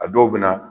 A dɔw bɛ na